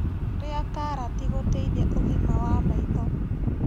Rĩa karati gũteithia ũgima wa maĩtho